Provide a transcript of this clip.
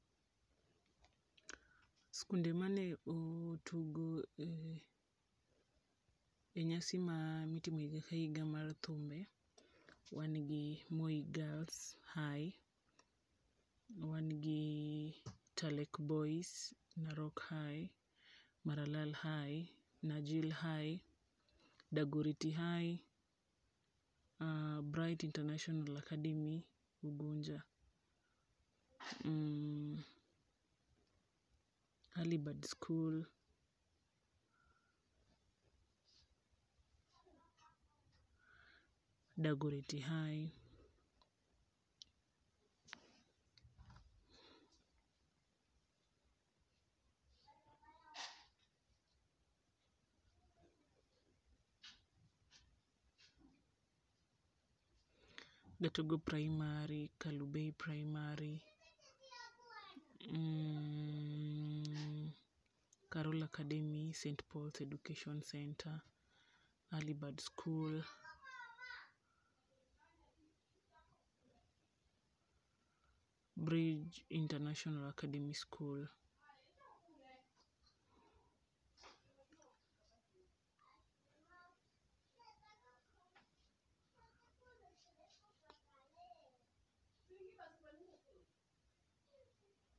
Skunde ma ne otugo e nyasi mitimo higa ka higa mar thumbe, wan gi Moi Gilrs High, wan gi Talek Boys, Narok High, Maralal High, Najil High, Dagoretti High, Bright International academy, Ugunja, Early Bird School, Dagoretti High, Gatugo Primary, Kalobey primary ,Carol Academy, St Paul's Education centre, Early Bird school, Bridge International Academy school.